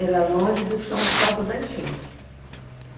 enchente. Era longe do chão por causa da enchente.